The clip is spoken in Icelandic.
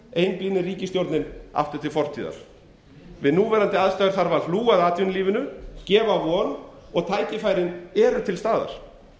einblínir ríkisstjórnin aftur til fortíðar við núverandi aðstæður þarf að hlúa að atvinnulífinu og gefa von tækifærin eru til staðar